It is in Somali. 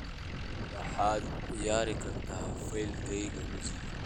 waxaad ciyaari kartaa faylkayga muusiga